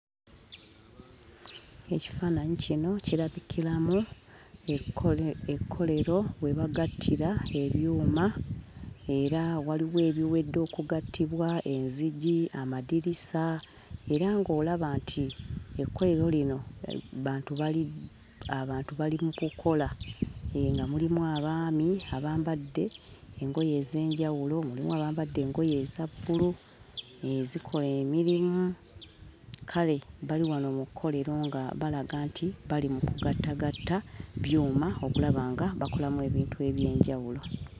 Ekifaananyi kino kirabikiramu ekkolero we bagattira ebyuma, era waliwo ebiwedde okugattibwa, enzigi, amadirisa, era ng'olaba nti ekkolero lino bantu bali abantu bali mu kukola. Hee, nga mulimu abaami abambadde engoye ez'enjawulo; mulimu abambadde engoye eza bbulu ezikola emirimu. Kale bali wano mu kkolero nga balaga nti bali mu kugattagatta byuma okulaba nga bakolamu ebintu eby'enjawulo.